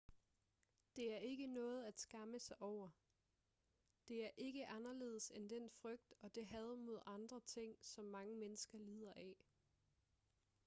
det er ikke noget at skamme sig over det er ikke anderledes end den frygt og det had mod andre ting som mange mennesker lider af